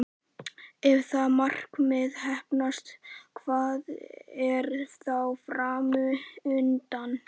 Ef það markmið heppnast, hvað er þá fram undan?